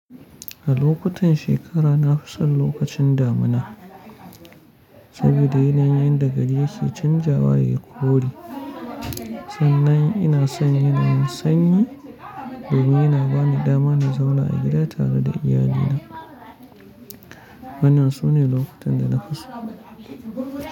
A lokutan shekara, na fi son lokacin damuna saboda yanayin da gari yake canjawa ya yi kore. Sannan ina son yanayin sanyi domin yana ba ni dama na zauna a gida tare da iyalina. Wannan sune lokacin da na fi so.